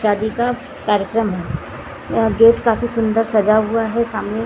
शादी का कार्यक्रम हैं गेट काफी सुन्दर सजा हुआ हैं सामने।